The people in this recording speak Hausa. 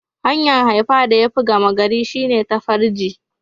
Hanya'n haifa da ya fi gama gari shine ta farji.